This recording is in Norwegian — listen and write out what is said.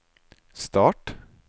start